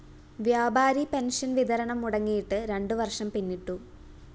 വ്യാപാരി പെൻഷൻ വിതരണം മുടങ്ങിയിട്ട് രണ്ടു വര്‍ഷം പിന്നിട്ടു